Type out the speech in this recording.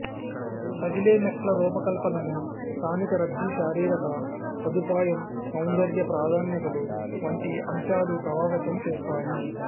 కదిలే మెట్ల రూపకల్పనకు స్థానిక రద్దీ శారిరిక సదుపాయం సౌందర్య ప్రాధాన్యతలు వంటి అంశాలు ప్రభావితం చేస్తాయి